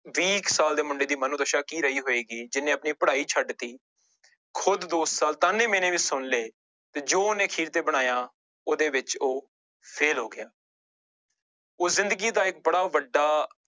ਵੀਹ ਕੁ ਸਾਲ ਦੇ ਮੁੰਡੇ ਦੀ ਮਨੋਦਸ਼ਾ ਕੀ ਰਹੀ ਹੋਏਗੀ ਜਿਹਨੇ ਆਪਣੀ ਪੜ੍ਹਾਈ ਛੱਡ ਦਿੱਤੀ ਖੁੱਦ ਦੋ ਸਾਲ ਤਾਨੇ ਮਿਹਣੇ ਵੀ ਸੁਣ ਲਏ ਤੇੇ ਜੋ ਉਹਨੇ ਅਖੀਰ ਤੇ ਬਣਾਇਆ ਉਹਦੇ ਵਿੱਚ ਉਹ fail ਹੋ ਗਿਆ ਉਹ ਜ਼ਿੰਦਗੀ ਦਾ ਇੱਕ ਬੜਾ ਵੱਡਾ